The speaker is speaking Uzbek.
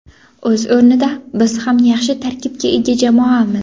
O‘z o‘rnida biz ham yaxshi tarkibga ega jamoamiz.